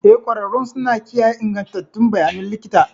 Eh, ƙwararrun suna kiyaye ingantattun bayanan likita